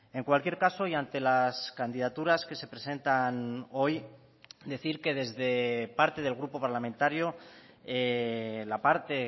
en cualquier caso y ante las candidaturas que se presentan hoy decir que desde parte del grupo parlamentario la parte